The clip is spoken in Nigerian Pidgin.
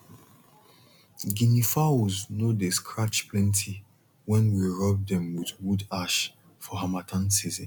guinea fowls no dey scratch plenty when we rub dem with wood ash for harmattan season